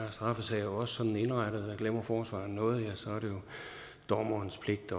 straffesager også sådan indrettet at glemmer forsvareren noget så er det jo dommerens pligt